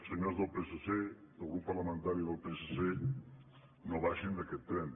senyors del psc del grup parlamentari del psc no baixin d’aquest tren